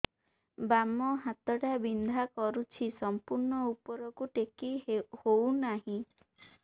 ବାମ ହାତ ଟା ବିନ୍ଧା କରୁଛି ସମ୍ପୂର୍ଣ ଉପରକୁ ଟେକି ହୋଉନାହିଁ